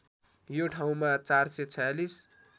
यो ठाउँमा ४४६